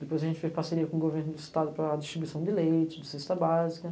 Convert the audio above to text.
Depois a gente fez parceria com o governo do estado para distribuição de leite, de cesta básica.